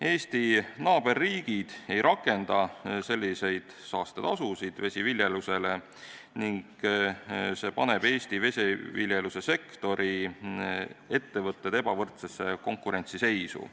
Eesti naaberriigid ei rakenda vesiviljeluse suhtes selliseid saastetasusid ning see paneb Eesti vesiviljelussektori ettevõtted ebavõrdsesse konkurentsiseisu.